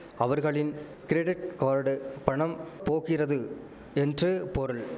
அவர்களின் credit card பணம் போகிறது என்று பொருள்